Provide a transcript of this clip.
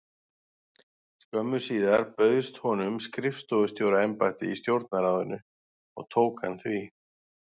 Skömmu síðar bauðst honum skrifstofustjóra- embætti í Stjórnarráðinu og tók hann því.